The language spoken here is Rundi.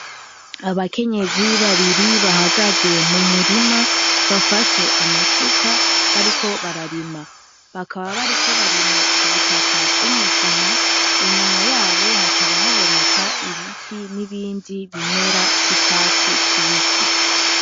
Abakenyezi babiri bahagaze mu murima, bafashe amasuka bariko bararima. Bakaba bariko barima ubutaka bw'umugina, inyuma yabo hakaba haboneka ibiti n'ibindi bimera vy'icatsi kibisi.